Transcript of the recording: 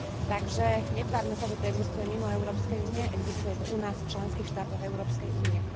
Takže netvárme sa, že to existuje mimo Európskej únie, existuje to u nás v členských štátoch Európskej únie.